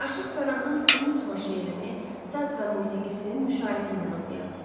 Aşıq Pənahın Unutma şeirini saz və musiqisinin müşayiəti ilə oxuyaq.